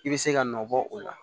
I bɛ se ka nɔ bɔ o la